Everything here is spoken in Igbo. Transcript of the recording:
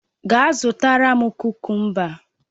Gaa zụtara m kukumba!